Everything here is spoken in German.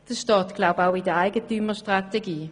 Das steht meines Wissens auch in der Eigentümerstrategie.